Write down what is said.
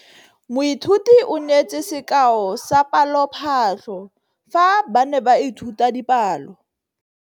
Moithuti o neetse sekaô sa palophatlo fa ba ne ba ithuta dipalo.